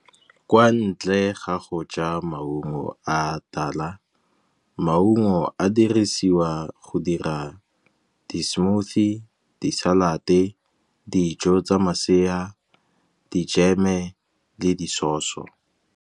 Kwa ntle ga go ja maungo a tala, maungo a dirisiwa go dira di-smoothie, di-salad-e, dijo tsa masea, dijeme le di sauce.